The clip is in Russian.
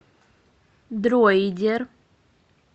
дроидер